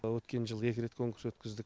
әлі өткен жылы екі рет конкурс өткіздік